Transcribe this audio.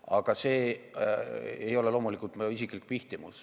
Aga see ei ole loomulikult mu isiklik pihtimus.